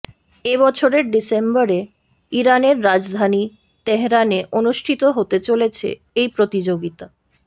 এ বছরের ডিসেম্বরে ইরানের রাজধানী তেহরানে অনুষ্ঠিত হতে চলেছে এই প্রতিযোগিতা